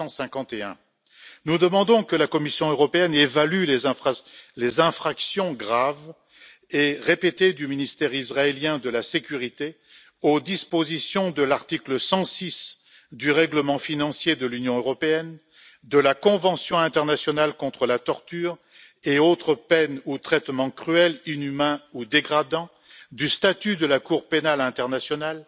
1951. Nous demandons que la Commission européenne évalue les infractions graves et répétées du ministère israélien de la sécurité aux dispositions de l'article 106 du règlement financier de l'Union européenne, de la convention internationale contre la torture et autres peines ou traitements cruels, inhumains ou dégradants, du statut de la Cour pénale internationale,